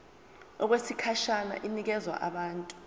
okwesikhashana inikezwa abantu